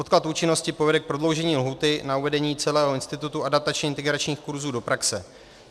Odklad účinnosti povede k prodloužení lhůty na uvedení celého institutu adaptačně integračních kurzů do praxe.